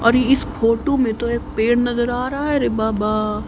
और इस फोटू में तो एक पेड़ नजर आ रहा है रे बाबा।